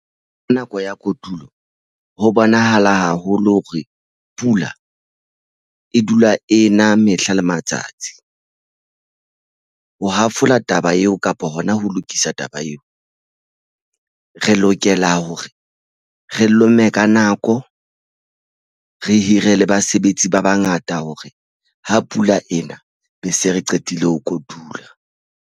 Nako ya kotulo ho bonahala haholo hore pula e dula e na mehla le matsatsi ho hafola taba eo kapa hona ho lokisa taba eo. Re lokela hore re lome ka nako re hire le basebetsi ba bangata hore ha pula ena be se re qetile ho kotula.